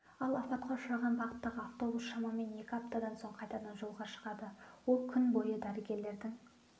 ал апатқа ұшыраған бағыттағы автобус шамамен екі аптадан соң қайтадан жолға шығады ол күн бойы дәрігерлердің